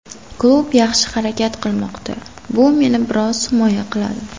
Klub yaxshi harakat qilmoqda, bu meni biroz himoya qiladi.